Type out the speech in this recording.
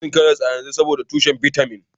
Ina cin karas a yanzu, saboda yana da kyau tushen bitamin A